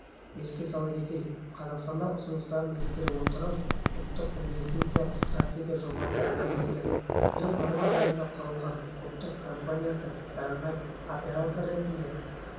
еске сала кетейік қазақстанда ұсыныстарын ескере отырып ұлттық инвестициялық стратегия жобасы әзірленген биыл наурыз айында құрылған ұлттық компаниясы бірыңғай оператор ретінде